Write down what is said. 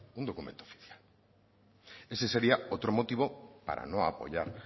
un documento oficial ese sería otro motivo para no apoyar